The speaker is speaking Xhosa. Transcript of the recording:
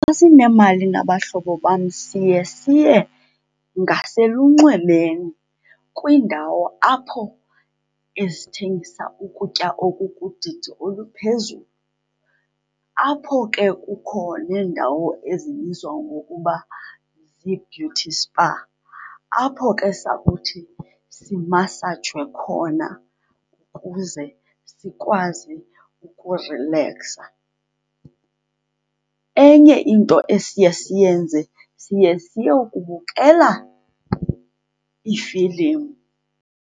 Xa sinemali nabahlobo bam siye, siye ngaselunxwemeni, kwiindawo apho ezithengisa ukutya okukudidi oluphezulu. Apho ke kukho neendawo ezibizwa ngokuba zii-beauty spa, apho ke sakuthi simasajwe khona kuze sikwazi ukurileksa. Enye into esiye siyenze, siye siyokubukela iifilimu.